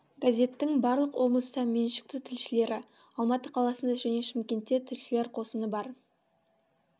газеттің барлық облыста меншікті тілшілері алматы қаласында және шымкентте тілшілер қосыны бар